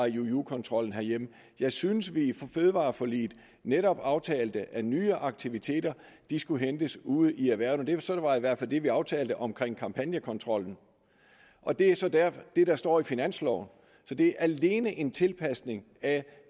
iuu kontrollen herhjemme jeg synes vi i fødevareforliget netop aftalte at nye aktiviteter skulle hentes ude i erhvervene sådan var i hvert fald det vi aftalte om kampagnekontrollen og det er så det der står i finansloven så det er alene en tilpasning af